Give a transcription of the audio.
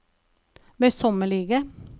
møysommelige